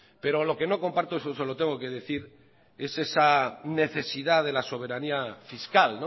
pero lo que no comparto y eso se lo tengo que decir es esa necesidad de la soberanía fiscal